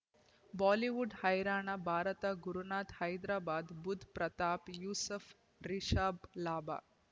Bollywood ಹೈರಾಣ ಭಾರತ ಗುರುನಾಥ ಹೈದರಾಬಾದ್ ಬುಧ್ ಪ್ರತಾಪ್ ಯೂಸುಫ್ ರಿಷಬ್ ಲಾಭ